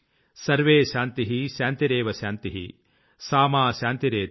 survey శాన్తిః శాన్తిరేవ శాన్తిః సామా శాన్తిరేధి